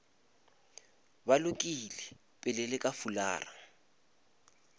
ba lokile pele le fulara